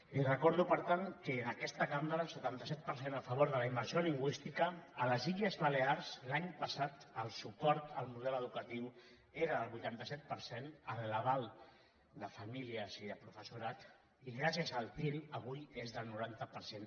li recordo per tant que en aquesta cambra setanta set per cent a favor de la immersió lingüística a les illes balears l’any passat el suport al model educatiu era del vuitanta set per cent en l’aval de famílies i de professorat i gràcies al til avui és del noranta per cent